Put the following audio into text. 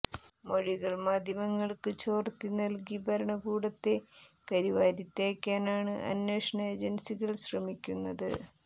മൊഴികൾ മാധ്യമങ്ങൾക്ക് ചോർത്തി നൽകി ഭരണകൂടത്തെ കരിവാരിത്തേക്കാനാണ് അന്വേഷണ ഏജൻസികൾ ശ്രമിക്കുന്നത്